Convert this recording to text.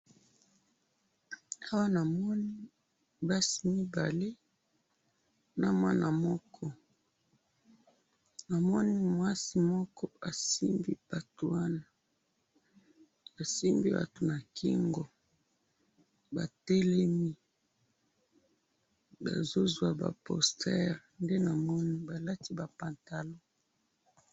Awa namoni basi mibale na mwana moko. na moni mwasi moko asimbi batu wana . asimbi batu na kingo. batelemi bazo zwa ba posteurs nde na moni balati ba pantalons